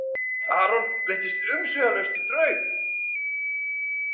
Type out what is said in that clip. Aron breyttist umsvifalaust í draug.